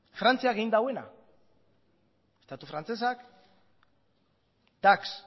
frantziak egin duena estatu frantsesak dax